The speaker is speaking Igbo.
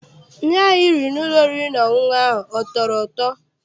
Nri ahụ I riri n'ụlọ oriri na ọṅụṅụ ahụ a tọrọ ụtọ?